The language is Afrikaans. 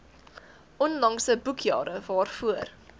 onlangse boekjare waarvoor